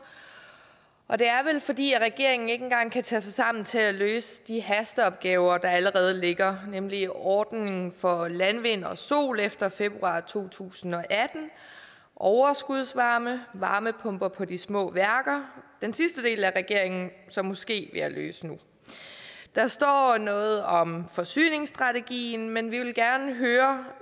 og det er vel fordi regeringen ikke engang kan tage sig sammen til at løse de hasteopgaver der allerede ligger nemlig ordningen for landvind og sol efter februar to tusind og atten overskudsvarme varmepumper på de små værker den sidste del er regeringen så måske ved at løse nu der står noget om forsyningsstrategien men vi vil gerne høre